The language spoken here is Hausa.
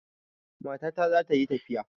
Matata za ta yi tafiya.